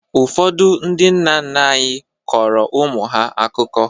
Ụfọdụ ndị nna nna anyị kọrọ ụmụ ha akụkọ.